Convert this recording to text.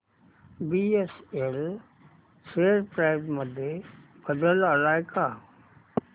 BSL share price मध्ये बदल आलाय का